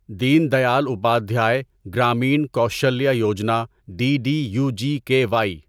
then Dayal Upadhyaya Grameen Kaushalya Yojana D D U G K Y